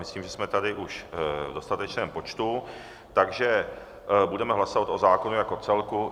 Myslím, že jsme tady už v dostatečném počtu, takže budeme hlasovat o zákonu jako celku.